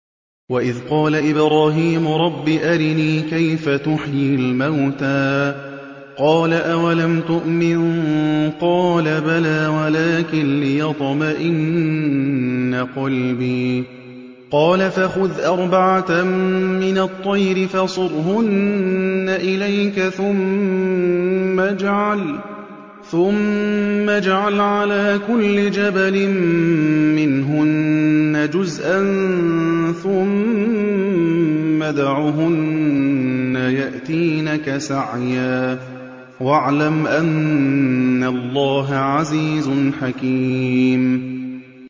وَإِذْ قَالَ إِبْرَاهِيمُ رَبِّ أَرِنِي كَيْفَ تُحْيِي الْمَوْتَىٰ ۖ قَالَ أَوَلَمْ تُؤْمِن ۖ قَالَ بَلَىٰ وَلَٰكِن لِّيَطْمَئِنَّ قَلْبِي ۖ قَالَ فَخُذْ أَرْبَعَةً مِّنَ الطَّيْرِ فَصُرْهُنَّ إِلَيْكَ ثُمَّ اجْعَلْ عَلَىٰ كُلِّ جَبَلٍ مِّنْهُنَّ جُزْءًا ثُمَّ ادْعُهُنَّ يَأْتِينَكَ سَعْيًا ۚ وَاعْلَمْ أَنَّ اللَّهَ عَزِيزٌ حَكِيمٌ